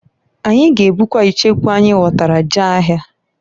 Anyị g'ebukwa icheku anyị ghọtara jee ahịa.